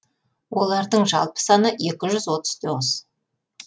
олардың жалпы саны екі жүз отыз тоғыз